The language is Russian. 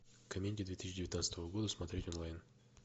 комедии две тысячи девятнадцатого года смотреть онлайн